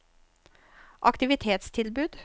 aktivitetstilbud